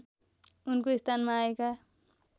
उनको स्थानमा आएका